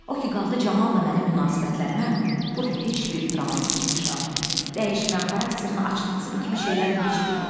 O ki qaldı Camalla mənim münasibətlərimə, burda heç bir dramatik inkişaf, dəyişmə, xarakterin açılması bu kimi şeylərin heç biri yoxdur.